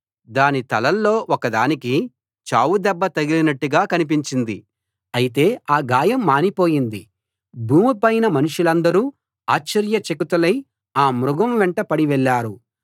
దాని తలల్లో ఒకదానికి చావు దెబ్బ తగిలినట్టుగా కనిపించింది అయితే ఆ గాయం మానిపోయింది భూమిపైన మనుషులందరూ ఆశ్చర్యచకితులై ఆ మృగం వెంట పడి వెళ్ళారు